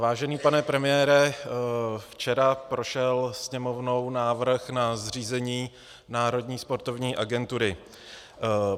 Vážený pane premiére, včera prošel Sněmovnou návrh na zřízení Národní sportovní agentury.